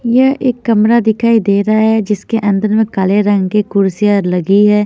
यह एक कमरा दिखाई दे रहा है जिसके अंदर में काले रंग की कुर्सियां लगी है।